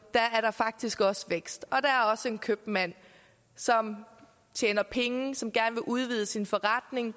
faktisk også er vækst at der også er en købmand som tjener penge som gerne vil udvide sin forretning